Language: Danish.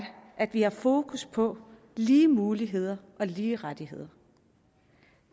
at vi har fokus på lige muligheder og lige rettigheder